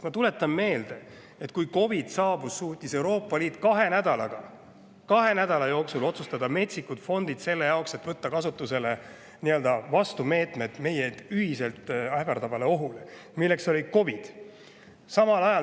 Ma tuletan meelde, et kui COVID saabus, siis suutis Euroopa Liit kahe nädala jooksul otsustada, et luua metsikud fondid selle jaoks, et võtta kasutusele meetmed, meid ühiselt ähvardanud ohu vastu, milleks oli COVID.